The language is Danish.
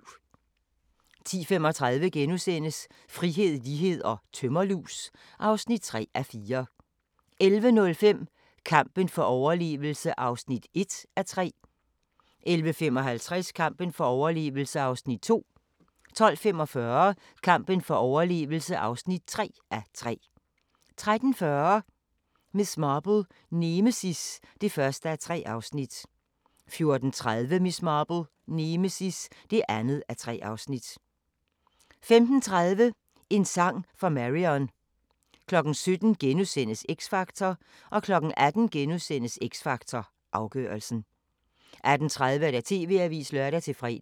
10:35: Frihed, lighed & tømmerlus (3:4)* 11:05: Kampen for overlevelse (1:3) 11:55: Kampen for overlevelse (2:3) 12:45: Kampen for overlevelse (3:3) 13:40: Miss Marple: Nemesis (1:3) 14:30: Miss Marple: Nemesis (2:3) 15:30: En sang for Marion 17:00: X Factor * 18:00: X Factor Afgørelsen * 18:30: TV-avisen (lør-fre)